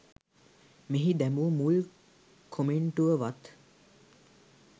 මෙහි දැමු මුල් කොමෙන්ටුව වත්